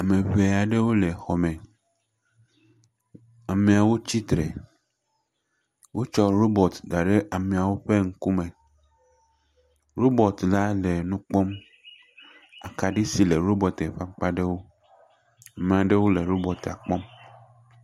Ame ŋe aɖewo le xɔ me. Ameawo tsitre. Wotsɔ robɔti da ɖe ameawo ƒe ŋku me. Robɔti la le nu kpɔm. Akaɖi si le robɔtia ƒe akpaɖewo. Maɖewo le robɔtia kpɔm.